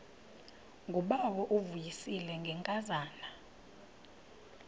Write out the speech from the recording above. ngubawo uvuyisile ngenkazana